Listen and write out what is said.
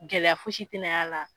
Gɛlɛya fo si tɛnaya la.